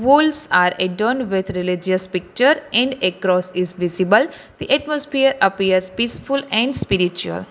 Wools are a turned with religious picture in across the visible the atmosphere appears peaceful and spiritual.